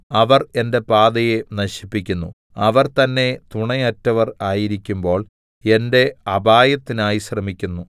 അവർ എന്റെ പാതയെ നശിപ്പിക്കുന്നു അവർ തന്നെ തുണയറ്റവർ ആയിരിക്കുമ്പോൾ എന്റെ അപായത്തിനായി ശ്രമിക്കുന്നു